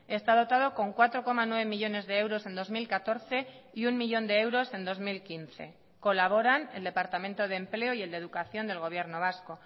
está dotado con cuatro coma nueve millónes de euros en dos mil catorce y uno millón de euros en dos mil quince colaboran el departamento de empleo y el de educación del gobierno vasco